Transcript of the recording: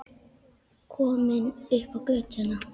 Komin upp á götuna.